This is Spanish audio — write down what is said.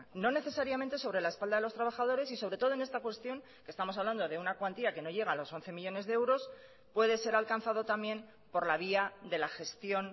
no necesariamente sobre la espalda de los trabajadores y sobre todo en esta cuestión que estamos hablando de una cuantía que no llega a los once millónes de euros puede ser alcanzado también por la vía de la gestión